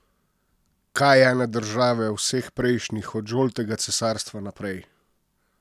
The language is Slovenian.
Kaj ene države, vseh prejšnjih, od žoltega cesarstva naprej!